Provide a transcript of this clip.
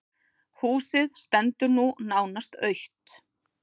Húsið stendur nú nánast autt.